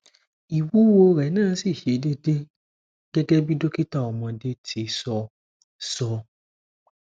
iwuwo rẹ na si ṣe dede gẹgẹ bi dokita ọmọde ti sọ sọ